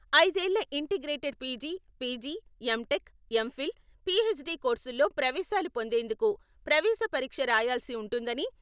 అయిదేళ్ల integrated PG, PG, MTech, MPhil, PhD కోర్సుల్లో ప్రవేశాలు పొందేందుకు ప్రవేశ పరీక్ష రాయాల్సి ఉంటుందని...